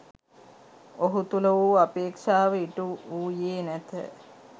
ඔහු තුළ වූ අපේක්ෂාව ඉටු වූයේ නැත